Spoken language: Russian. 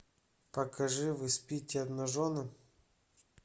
покажи вы спите обнаженным